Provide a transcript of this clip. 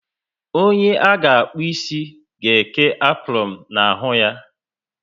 Onye a ga akpu ịsị ga eke apronu na ahụ ya